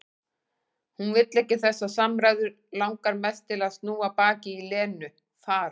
Hún vill ekki þessar samræður, langar mest til að snúa baki í Lenu, fara.